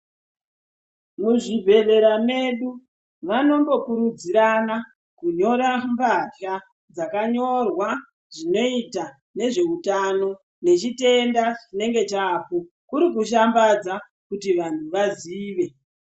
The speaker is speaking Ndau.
Mu zvibhehlera medu vanondo kurudzirana kunyora mbatya dzaka nyorwa zvinoita nezve utano ne chitenda chinenge chako kuri kushambadza kuti vanhu vazive.